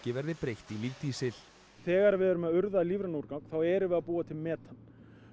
verði breytt í lífdísil þegar við erum að urða lífrænan úrgang þá erum við að búa til metan